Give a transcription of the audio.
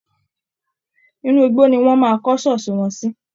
Inú igbó ni wọ́n máa kọ́ ṣọ́ọ̀ṣì wọn sí